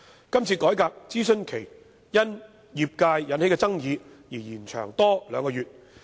這次改革的諮詢期因業界的爭議而延長兩個月。